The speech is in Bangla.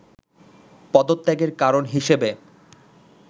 পদত্যাগের কারণ হিসেবে